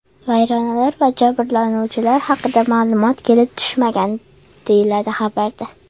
Vayronalar va jabrlanuvchilar haqida ma’lumot kelib tushmagan, deyiladi xabarda.